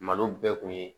Malo bɛɛ kun ye